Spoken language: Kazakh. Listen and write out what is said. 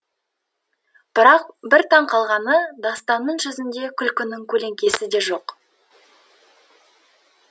бірақ бір таң қалғаны дастанның жүзінде күлкінің көлеңкесі де жоқ